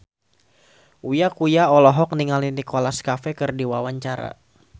Uya Kuya olohok ningali Nicholas Cafe keur diwawancara